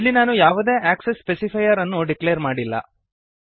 ಇಲ್ಲಿ ನಾನು ಯಾವುದೇ ಆಕ್ಸೆಸ್ ಸ್ಪೆಸಿಫೈಯರ್ ಅನ್ನು ಡಿಕ್ಲೇರ್ ಮಾಡಿಲ್ಲ